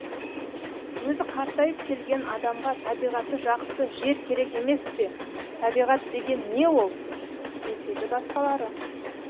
өзі қартайып келген адамға табиғаты жақсы жер керек емес пе табиғат деген не ол деседі басқалары